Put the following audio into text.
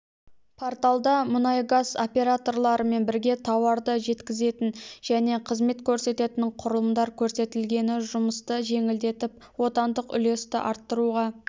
порталда мұнай-газ операторларларымен бірге тауарды жеткізетін және қызмет көрсететін құрылымдар көрсетілгені жұмысты жеңілдетіп отандық үлесті арттыруға